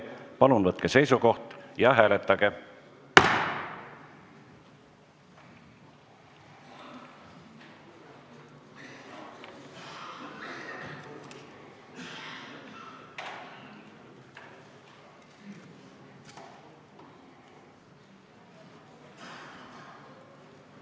Palun võtke seisukoht ja hääletage!